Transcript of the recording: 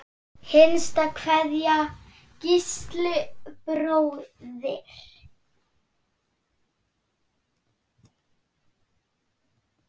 Hinsta kveðja, Gísli bróðir.